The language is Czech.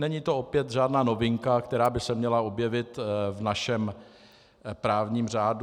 Není to opět žádná novinka, která by se měla objevit v našem právním řádu.